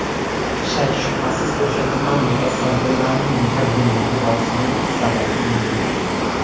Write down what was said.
Shak-shubhasiz o‘sha tuman mutasaddilarining birgina e’tiborsizligi sabab bunga...